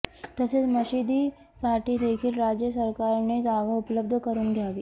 तसेच मशिदीसाठी देखील राज्य सरकारने जागा उपलब्ध करुन द्यावी